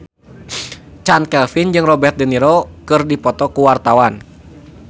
Chand Kelvin jeung Robert de Niro keur dipoto ku wartawan